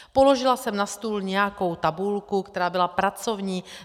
Položila jsem na stůl nějakou tabulku, která byla pracovní.